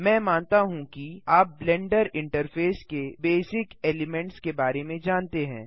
मैं मानता हूँ कि आप ब्लेंडर इंटरफ़ेस के बेसिक एलिमेन्ट्स के बारे में जानते हैं